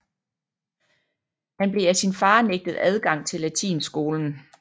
Han blev af sin far nægtet adgang til latinskolen